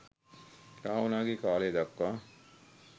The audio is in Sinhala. රාවණාගේ කාලය දක්වා